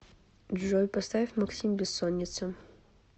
джой поставь максим бессоница